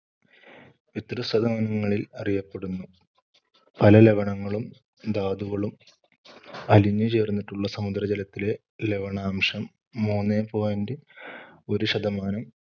ങ്ങളിൽ അറിയപ്പെടുന്നു. പല ലവണങ്ങളും ധാതുകളും അലിഞ്ഞുചേർന്നിട്ടുള്ള സമുദ്രജലത്തിലെ ലവണാംശം മൂന്നേ point ഒരു ശതമാനം